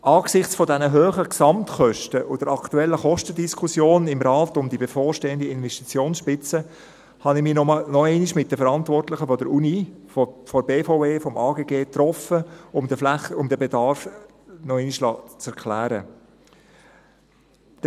Angesichts dieser hohen Gesamtkosten und der aktuellen Kostendiskussion im Rat um die bevorstehende Investitionsspitze habe ich mich nochmals mit den Verantwortlichen der Universität, der BVE und des AGG getroffen, um mir den Bedarf noch einmal erklären zu lassen.